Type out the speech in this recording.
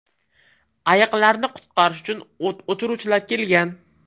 Ayiqlarni qutqarish uchu o‘t o‘chiruvchilar kelgan.